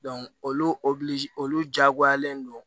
olu olu diyagoyalen don